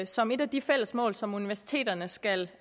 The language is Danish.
som et af de fælles mål som universiteterne skal